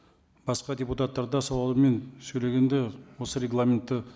басқа депутаттар да сауалмен сөйлегенде осы регламентті